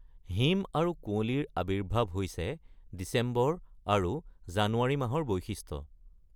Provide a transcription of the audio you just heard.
হিম আৰু কুঁৱলীৰ আৱিৰ্ভাৱ হৈছে ডিচেম্বৰ আৰু জানুৱাৰী মাহৰ বৈশিষ্ট্য।